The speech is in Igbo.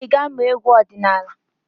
Ị ga-amụ egwu ọdịnaala?